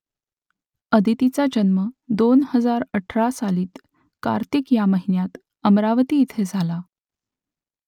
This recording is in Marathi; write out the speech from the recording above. आदितीचा जन्म दोन हजार अठरा सालातील कार्तिक या महिन्यात अमरावती इथे झाला